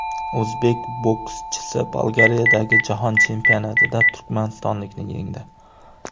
O‘zbek bokschisi Bolgariyadagi jahon chempionatida turkmanistonlikni yengdi.